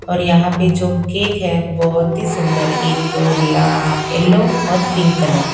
और यहां पे जो केक है बहुत ही सुंदर एक ला येलो और पिंक कलर का--